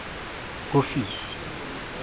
ofisi